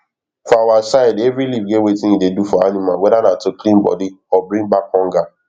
for our side every leaf get wetin e dey do for animalwhether na to clean body or bring back hunger